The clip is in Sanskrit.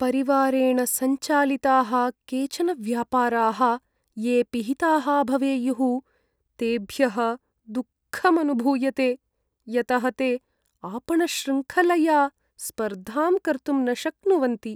परिवारेण सञ्चालिताः केचन व्यापाराः ये पिहिताः भवेयुः, तेभ्यः दुःखमनुभूयते। यतः ते आपणशृङ्खलया स्पर्धां कर्तुं न शक्नुवन्ति।